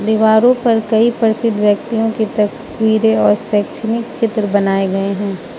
दीवारों पर कई प्रसिद्ध व्यक्तियों की तस्वीरें और शैक्षणिक चित्र बनाए गए हैं।